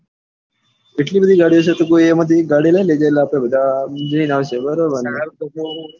એટલી બધી ગાડી છે તો કોઈ એમાં થી એક ગાડી લઇ લેજે એટલે આપડે બધા જઇને આવી જૈસુ બરાબર ને